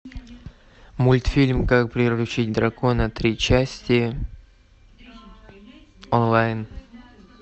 мультфильм как приручить дракона три части онлайн